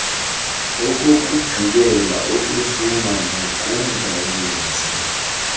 okokugqibela ukuhluma makungayenzi